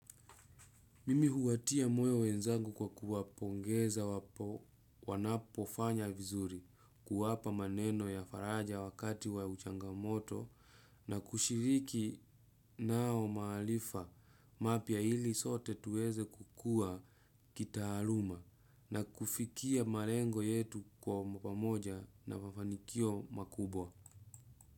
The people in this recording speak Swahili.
Mimi huwatia moyo wenzangu kwa kuwapongeza wanapofanya vizuri kuwapa maneno ya faraja wakati wa uchangamoto na kushiriki nao mahalifa mapya hili sote tuweze kukua kitaaluma na kufikia marengo yetu kwa mpamoja na mafanikio makubwa.